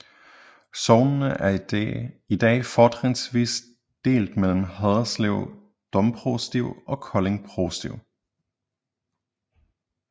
Sognene er i dag fortrinsvis delt mellem Haderslev Domprovsti og Kolding Provsti